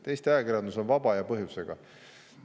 Eesti ajakirjandus on vaba ja põhjusega.